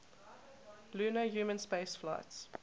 lunar human spaceflights